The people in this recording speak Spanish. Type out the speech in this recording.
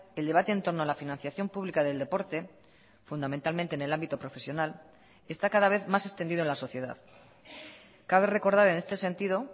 el debate en torno a la financiación pública del deporte fundamentalmente en el ámbito profesional está cada vez más extendido en la sociedad cabe recordar en este sentido